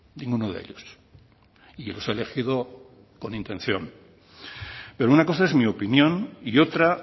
ninguno de ellos y los he elegido con intención pero una cosa es mi opinión y otra